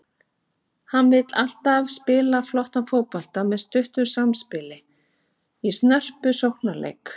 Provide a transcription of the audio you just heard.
Hann vill alltaf spila flottan fótbolta með stuttu samspili og snörpum sóknarleik.